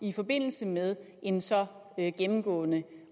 i forbindelse med en så gennemgående